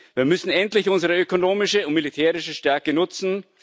Wir müssen endlich unsere ökonomische und militärische Stärke nutzen.